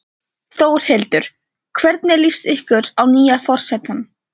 Þórhildur: Hvernig líst ykkur á nýja forsetann?